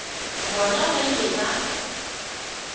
bona ba ile ba ba